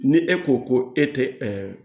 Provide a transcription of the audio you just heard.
Ni e ko ko e tɛ